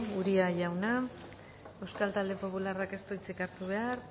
uria jauna euskal talde popularrak ez du hitzik hartu behar